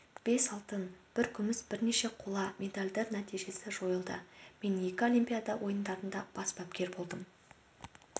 бес алтын бір күміс бірнеше қола медальдар нәтижесі жойылды мен екі олимпиада ойындарында бас бапкер болдым